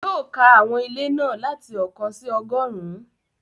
Yóò ka àwọn ilé náà láti ọ̀kan sí ọgọ́rùn-ún